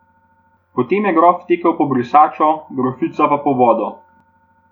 Potem je grof tekel po brisačo, grofica pa po vodo.